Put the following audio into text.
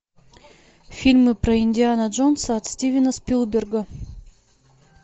фильмы про индиану джонса от стивена спилберга